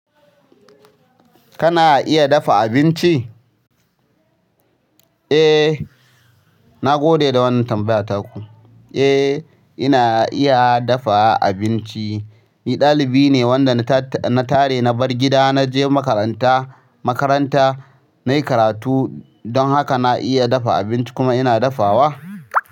Kana iya dafa abinci? Eh, nagode da wannan tambaya taku. Eh, ina iya dafa abinci. Ni ɗalibi ne wanda na tare na bar gida na je makaranta. Makaranta, nayi karatu don haka na iya dafa abinci kuma ina dafawa.